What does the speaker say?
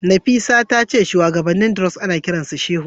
Nafisat tace shuwagabannin Druze ana kiransu shehu.